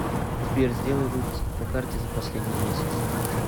сбер сделай выписку по карте за последний месяц